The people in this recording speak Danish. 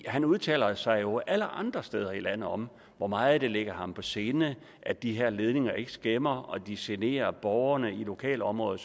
han udtaler sig jo alle andre steder i landet om hvor meget det ligger ham på sinde at de her ledninger ikke skæmmer og at de genere borgerne i lokalområdet